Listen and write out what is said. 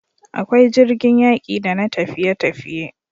Akwai jirgin yaƙi da na tafiye tafiye